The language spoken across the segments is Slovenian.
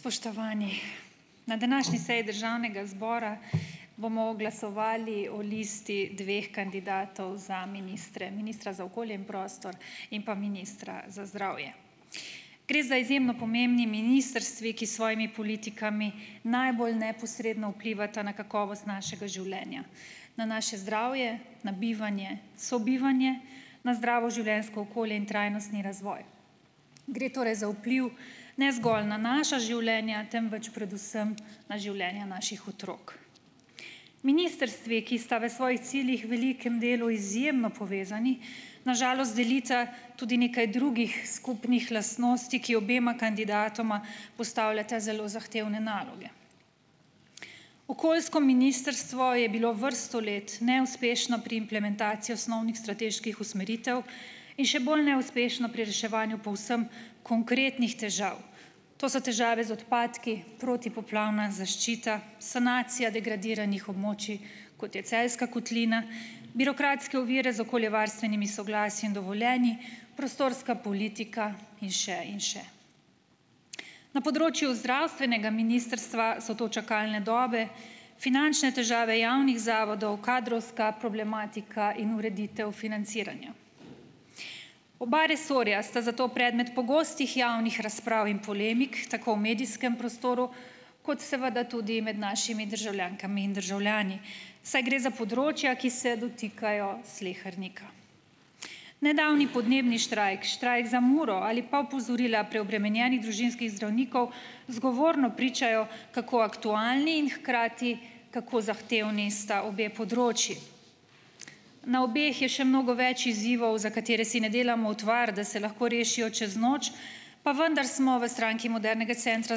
Spoštovani. Na današnji seji državnega zbora bomo glasovali o listi dveh kandidatov za ministre. Ministra za okolje in prostor in pa ministra za zdravje. Gre za izjemno pomembni ministrstvi, ki s svojimi politikami najbolj neposredno vplivata na kakovost našega življenja. Na naše zdravje, na bivanje, sobivanje, na zdravo življenjsko okolje in trajnostni razvoj. Gre torej za vpliv, ne zgolj na naša življenja, temveč predvsem na življenja naših otrok. Ministrstvi, ki sta v svojih ciljih velikem delu izjemno povezani, na žalost delita tudi nekaj drugih skupnih lastnosti, ki obema kandidatoma postavljata zelo zahtevne naloge. Okoljsko ministrstvo je bilo vrsto let neuspešno pri implementaciji osnovnih strateških usmeritev in še bolj neuspešno pri reševanju povsem konkretnih težav. To so težave z odpadki, protipoplavna zaščita, sanacija degradiranih območij, kot je Celjska kotlina, birokratske ovire z okoljevarstvenimi soglasji in dovoljenji, prostorska politika in še in še. Na področju zdravstvenega ministrstva so to čakalne dobe, finančne težave javnih zavodov, kadrovska problematika in ureditev financiranja. Oba resorja sta zato predmet pogostih javnih razprav in polemik, tako v medijskem prostoru, kot seveda tudi med našimi državljankami in državljani, saj gre za področja, ki se dotikajo slehernika. Nedavni podnebni štrajk, štrajk za Muro ali pa opozorila preobremenjenih družinskih zdravnikov, zgovorno pričajo, kako aktualni in hkrati kako zahtevni sta obe področji. Na obeh je še mnogo več izzivov, za katere si ne delamo utvar, da se lahko rešijo čez noč, pa vendar smo v Stranki modernega centra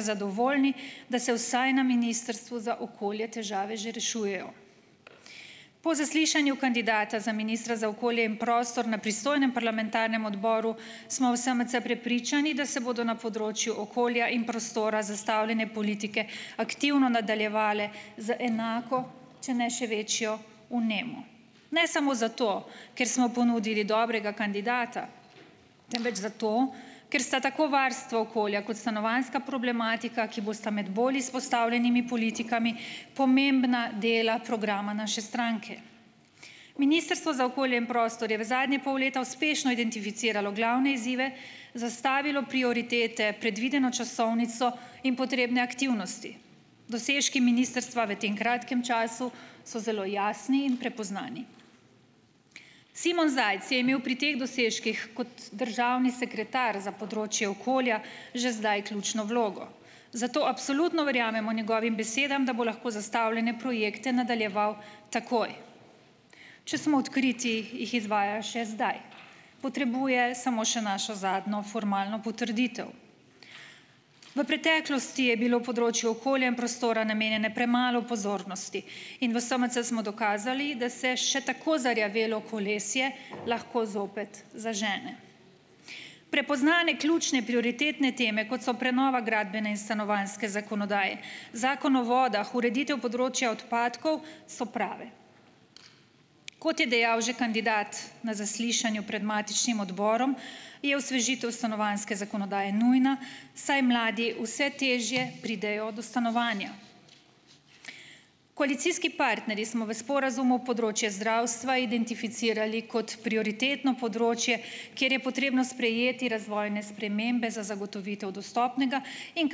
zadovoljni, da se vsaj na ministrstvu za okolje težave že rešujejo. Po zaslišanju kandidata za ministra za okolje in prostor na pristojnem parlamentarnem odboru, smo v SMC prepričani, da se bodo na področju okolja in prostora zastavljene politike aktivno nadaljevale z enako, če ne še večjo vnemo. Ne samo zato, ker smo ponudili dobrega kandidata, temveč zato, ker sta tako varstvo okolja kot stanovanjska problematika, ki bosta imeti bolj izpostavljenimi politikami, pomembna dela programa naše stranke. Ministrstvo za okolje in prostor je v zadnjega pol leta uspešno identificiralo glavne izzive, zastavilo prioritete, predvideno časovnico in potrebne aktivnosti. Dosežki ministrstva v tem kratkem času so zelo jasni in prepoznani. Simon Zajc je imel pri teh dosežkih kot državni sekretar za področje okolja že zdaj ključno vlogo. Zato absolutno verjamemo njegovim besedami, da bo lahko zastavljene projekte nadaljeval takoj. Če smo odkriti, jih izvaja še zdaj. Potrebuje samo še našo zadnjo formalno potrditev. V preteklosti je bilo področju okolja in prostora namenjene premalo pozornosti in v SMC smo dokazali, da se še tako zarjavelo kolesje lahko zopet zažene. Prepoznane ključne prioritetne teme, kot so prenova gradbene in stanovanjske zakonodaje, zakon o vodah, ureditev področja odpadkov, so prave. Kot je dejal že kandidat na zaslišanju pred matičnim odborom, je osvežitev stanovanjske zakonodaje nujna, saj mladi vse težje pridejo do stanovanja. Koalicijski partnerji smo v sporazumu področje zdravstva identificirali kot prioritetno področje, kjer je potrebno sprejeti razvojne spremembe za zagotovitev dostopnega in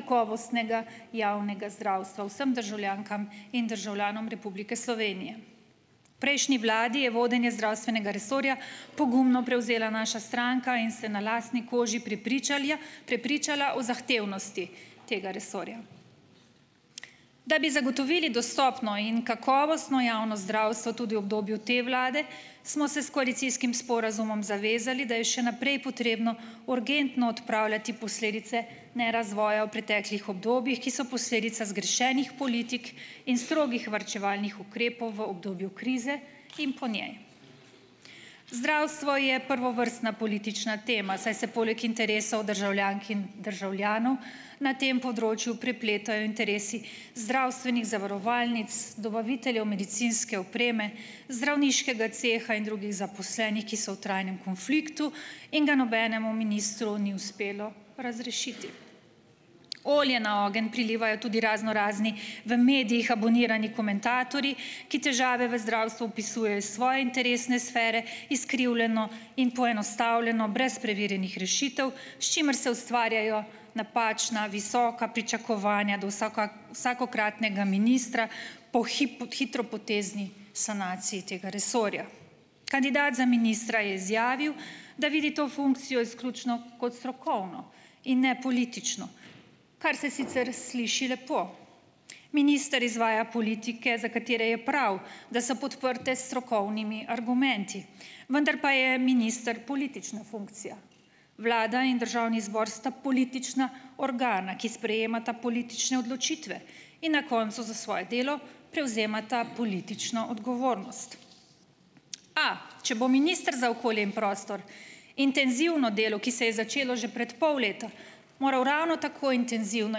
kakovostnega javnega zdravstva vsem državljankam in državljanom Republike Slovenije. Prejšnji vladi je vodenje zdravstvenega resorja pogumno prevzela naša stranka in se na lastni koži prepričala o zahtevnosti tega resorja. Da bi zagotovili dostopno in kakovostno javno zdravstvo tudi v obdobju te vlade, smo se s koalicijskim sporazumom zavezali, da je še naprej potrebno urgentno odpravljati posledice nerazvoja v preteklih obdobjih, ki so posledica zgrešenih politik in strogih varčevalnih ukrepov v obdobju krize in po njej. Zdravstvo je prvovrstna politična tema, saj se poleg interesov državljank in državljanov na tem področju prepletajo interesi zdravstvenih zavarovalnic, dobaviteljev medicinske opreme, zdravniškega ceha in drugih zaposlenih, ki so v trajnem konfliktu in ga nobenemu ministru ni uspelo razrešiti . Olje na ogenj prilivajo tudi raznorazni, v medijih abonirani komentatorji, ki težave v zdravstvu opisujejo svoje interesne sfere, izkrivljeno in poenostavljeno brez preverjenih rešitev, s čimer se ustvarjajo napačna visoka pričakovanja do vsakokratnega ministra po pot hitropotezni sanaciji tega resorja. Kandidat za ministra je izjavil, da vidi to funkcijo izključno kot strokovno in ne politično. Kar se sicer sliši lepo. Minister izvaja politike, za katere je prav, da so podprte s strokovnimi argumenti. Vendar pa je minister politična funkcija. Vlada in državni zbor sta politična organa, ki sprejemata politične odločitve. In na koncu za svoje delo prevzemata politično odgovornost. Pa, če bo minister za okolje in prostor intenzivno delo, ki se je začelo že pred pol leta, moral ravno tako intenzivno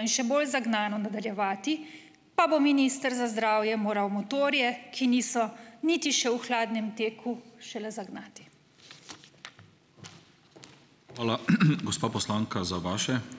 in še bolj zagnano nadaljevati, pa bo minister za zdravje moral motorje, ki niso niti še v hladnem teku, šele zagnati. Hvala, gospa poslanka za vaše ...